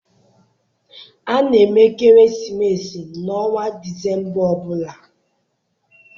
A na-eme ekeresimesi n'ọnwa Disemba ọ bụla.